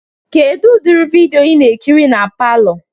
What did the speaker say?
Kedu udiri vidịo ị na-ekiri na palọ?